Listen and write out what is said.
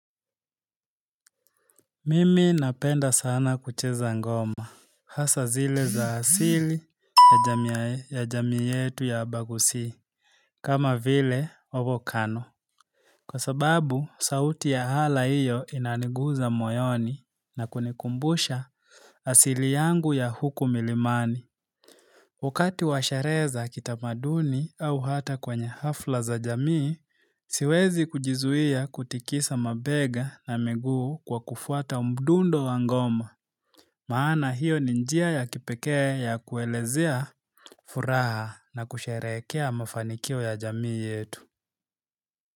Mimi napenda sana kucheza ngoma. Hasa zile za asili ya jamii yetu ya abagusi. Kama vile, ovokano. Kwa sababu, sauti ya hala iyo inaniguza moyoni na kunikumbusha asili yangu ya huku milimani. Wakati wa sherehe za kitamaduni au hata kwenye hafla za jamii, siwezi kujizuia kutikisa mabega na miguu kwa kufuata mdundo wa ngoma. Maana hiyo ni njia ya kipekee ya kuelezea furaha na kusherehekea mafanikio ya jamii yetu.